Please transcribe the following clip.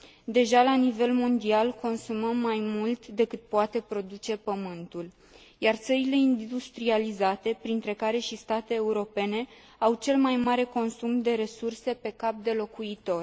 Deja la nivel mondial consumăm mai mult decât poate produce pământul, iar țările industrializate, printre care și state europene, au cel mai mare consum de resurse pe cap de locuitor.